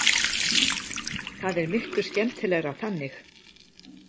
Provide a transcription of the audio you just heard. Það er miklu skemmtilegra þannig.